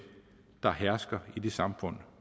der hersker i det samfund